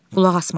Qulaq asmadı.